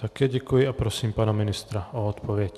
Také děkuji a prosím pana ministra o odpověď.